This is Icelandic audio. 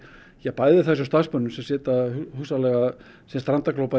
bæði þessum starfsmönnum sem sitja hugsanlega strandaglópar